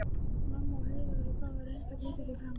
Mamma og Heiða urðu báðar ennþá hvítari í framan.